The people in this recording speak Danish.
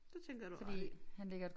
Det tænker jeg du har ret i